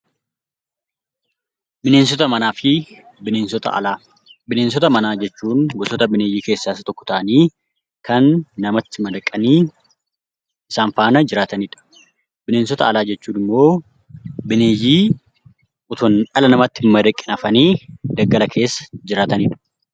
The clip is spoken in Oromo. Bineensota manaa fi Bineensota alaa Bineensota manaa jechuun gosoota bineeyyii keessaa isa tokko ta'anii kan namatti madaqanii isaan faana jiraatani dha. Bineensota alaa jechuun immoo bineeyyii utuu dhala namaatti hin madaqin hafanii daggala keessa jiraatani dha.